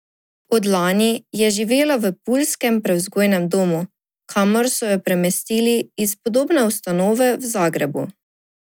Od lani je živela v puljskem prevzgojnem domu, kamor so jo premestili iz podobne ustanove v Zagrebu.